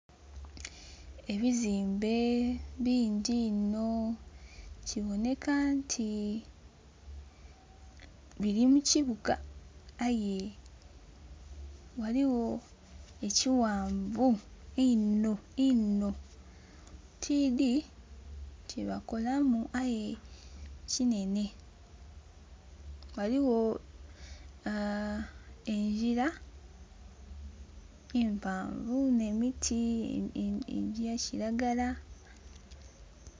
Ebizimbe bingi iino biboneka nti biri mu kibuga aye ghaligho ekighanvi iinno iino tidhi kye bakolamu aye kinene. Ghaligho aaa engila empavu ne miti egya kilagala.